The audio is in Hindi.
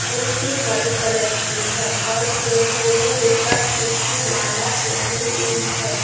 मूर्ति व्हाइट कलर की है और उन्होंने रुद्राक्ष की माला पेहनी हुई है।